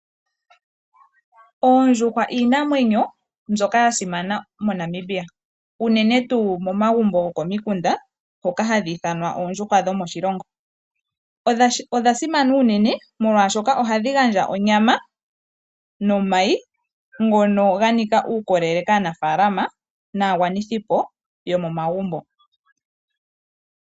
Oondjuhwa iinamwenyo mbyoka yasimana moNamibia. Unene tuu momagumbo gokomikunda hoka hadhi ithanwa oondjuhwa dhomoshilongo. Odha simana uunene molwasshoka ohadhi gandja onyama nomayi ngono ganika uukolelel kaanafalama nagwanithipo yomomagumbo.